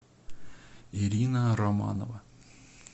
ирина романова